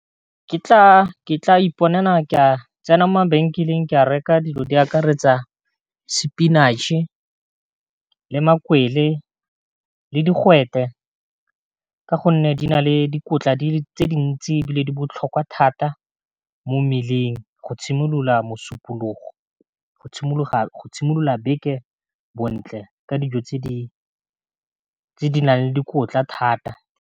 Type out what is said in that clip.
Ke tla iponela ke a tsena mo mabenkeleng ke a reka dilo di akaretsa spinach-e le makwele le digwete ka gonne di na le dikotla tse dintsi e bile di botlhokwa thata mo mmeleng go tshimolola mosupologo bontle ka dijo tse di nang le dikotla thata.